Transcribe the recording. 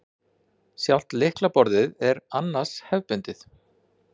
Sjálft lyklaborðið er annars hefðbundið